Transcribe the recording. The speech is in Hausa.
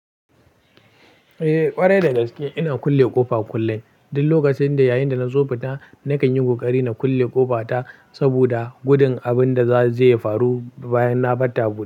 Eh ƙwarai da gaske ina kulle ƙofa kullum. Din lokacin da yayinda na zo fita nakan yi ƙoƙari na kulle ƙofa ta saboda gudun abin da za zai faru bayan na bar tabo.